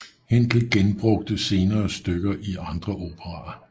Händel benbrugte senere stykker i andre operaer